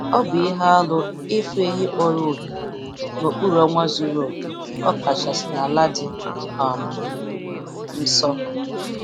Ọ bụ ihe arụ ịfụ ehi mkpọrọhịhị n'okpuru ọnwa zuru oke, ọkachasị n'ala dị um nsọ.